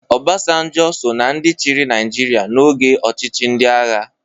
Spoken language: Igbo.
Obasanjo so na ndị chịrị Naịjirịa n'oge ọchịchị ndị agha.